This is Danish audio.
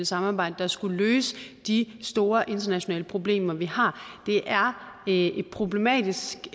samarbejde der skulle løse de store internationale problemer vi har det er et problematisk